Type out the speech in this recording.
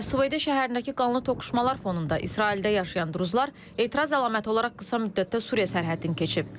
Əs-Süveydə şəhərindəki qanlı toqquşmalar fonunda İsraildə yaşayan duruzlar etiraz əlaməti olaraq qısa müddətdə Suriya sərhədini keçib.